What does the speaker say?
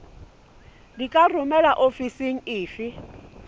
di ka romelwa ofising efe